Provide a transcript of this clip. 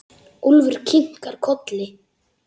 Úlfur kinkar kolli.